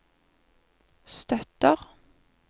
støtter